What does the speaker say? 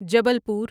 Jabalpur